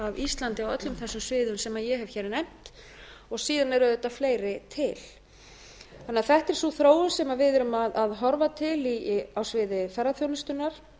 íslandi á öllum þessum sviðum sem ég hef hér nefnt síðan eru auðvitað fleiri til þannig að þetta er sú þróun sem við erum að horfa til á sviði ferðaþjónustunnar